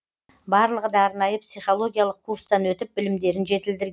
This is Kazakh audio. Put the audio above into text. барлығы да арнайы психологиялық курстан өтіп білімдерін жетілдірген